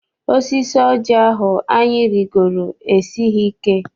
Osisi oji ahụ anyị rigoro esighị ike.